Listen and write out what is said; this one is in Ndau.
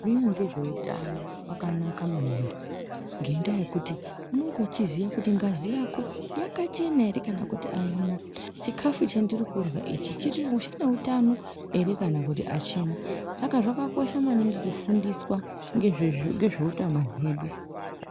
...ngezveutano kwakanaka maningi ngendaa yekuti unonga uchiziya kuti ngazi yako yakachena here kana kuti aina, chikafu chendirikurya ichi chineutano here kana kuti achina. Saka zvakakosha maningi kufundiswa ngezveutano hwedu.